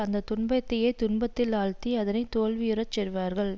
அந்த துன்பத்தையே துன்பத்தில் ஆழ்த்தி அதனை தோல்வியுற செய்வார்கள்